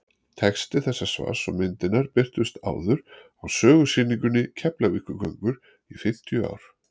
texti þessa svars og myndirnar birtust áður á sögusýningunni keflavíkurgöngur í fimmtíu ár